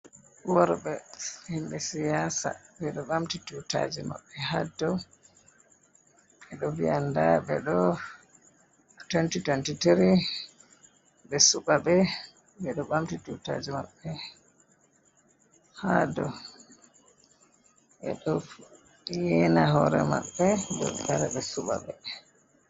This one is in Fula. Worɓe himɓe siyasa ɓe ɗo ɓamti tutaji maɓɓe ha dow ɓe ɗo viya nda nda ɓe ɗo 2023 ɓe suɓaɓe ɓe ɗo ɓamti tutaji maɓɓe ha dow ɓe ɗo yena hore maɓɓe dow ɓe wara ɓe suɓaɓe.